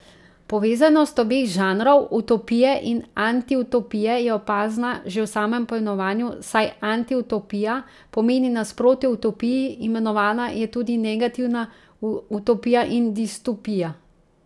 Povezanost obeh žanrov, utopije in antiutopije, je opazna že v samem poimenovanju, saj antiutopija pomeni nasprotje utopiji, imenovana je tudi negativna utopija in distopija.